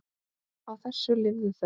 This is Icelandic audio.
Á þessu lifðu þau.